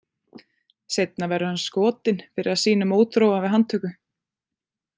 Seinna verður hann skotinn fyrir að sýna mótþróa við handtöku.